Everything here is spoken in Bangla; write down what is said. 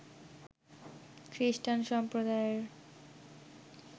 খ্রিস্টান সম্প্রদায়ের